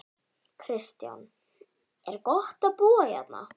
Kristján: Er gott að búa hérna?